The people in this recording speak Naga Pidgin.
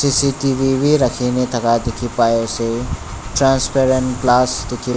C_C_T_V bi rakhine thaka dikhipaiase transparent glass dikhi--